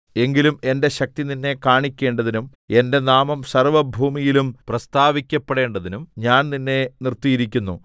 എങ്കിലും എന്റെ ശക്തി നിന്നെ കാണിക്കേണ്ടതിനും എന്റെ നാമം സർവ്വഭൂമിയിലും പ്രസ്താവിക്കപ്പെടേണ്ടതിനും ഞാൻ നിന്നെ നിർത്തിയിരിക്കുന്നു